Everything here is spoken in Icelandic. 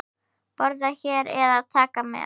Borða hér eða taka með?